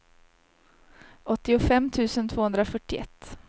åttiofem tusen tvåhundrafyrtioett